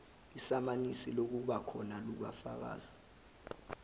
isamanisi lokubakhona kukafakazi